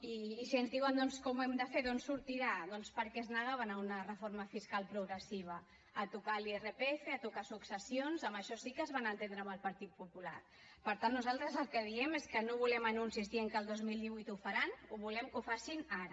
i si ens diuen doncs com ho hem de fer d’on sortirà doncs per què es negaven a una reforma fiscal progressiva a tocar l’irpf a tocar successions en això sí que es van entendre amb el partit popular per tant nosaltres el que diem és que no volem anuncis dient que al dos mil divuit ho faran volem que ho facin ara